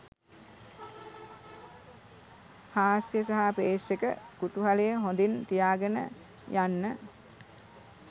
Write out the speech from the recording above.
හාස්‍ය සහ ප්‍රේක්ෂක කුතුහලය හොඳින් තියාගෙන යන්න